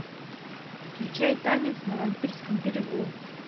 включай танец на вампирском берегу